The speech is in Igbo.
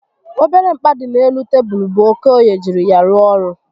Obere mkpa dị n'elu tebulu bụ Okoye jiri ya rụọ ọrụ